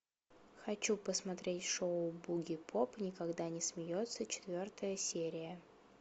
хочу посмотреть шоу бугипоп никогда не смеется четвертая серия